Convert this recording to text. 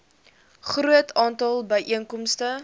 groot aantal byeenkomste